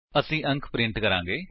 ਅਸੀ ਅੰਕ ਪ੍ਰਿੰਟ ਕਰਾਂਗੇ